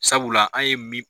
Sabula an ye min